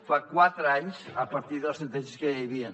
fa quatre anys a partir de les sentències que ja hi havien